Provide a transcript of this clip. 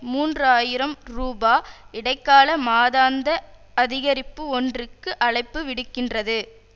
மூன்று ஆயிரம் ரூபா இடைக்கால மாதாந்த அதிகரிப்பு ஒன்றுக்கு அழைப்பு விடுக்கின்றது